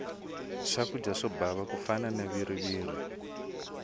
swakudya swo bava ku fana na viriviri